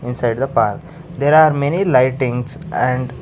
Inside the park there are many lightings and --